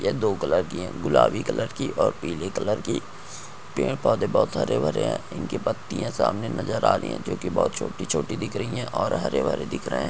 यह दो कलर की है गुलाबी कलर की और पीले कलर की पेड़ पौधे बहोत हरे भरे है इनकी पत्तिया सामने नज़र आ रही है जो कि बहोत छोटी छोटी दिख रही है और हरे भरे दिख रहे है।